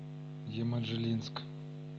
еманжелинск